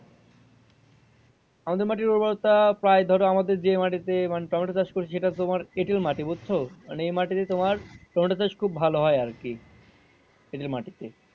আমাদের মাটির উর্বরতা প্রায় ধরো আমাদের যে মাটিতে টমেটো চাষ করেছি সেটাতে তোমার এঁটেল মাটি বুজছ মানে এ মাটিতে তোমার টমেটো চাষ খুব ভালো হয় আরকি। এঁটেল মাটি তে।